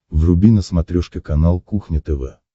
вруби на смотрешке канал кухня тв